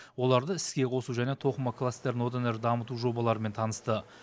оларды іске қосу және тоқыма кластерін одан әрі дамыту жобаларымен танысты